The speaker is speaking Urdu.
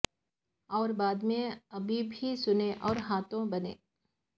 اور بعد میں اب بھی سنن اور ہاتھوں بنے